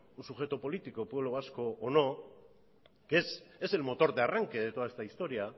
un sujeto político el pueblo vasco o no es el motor de arranque de toda esta historia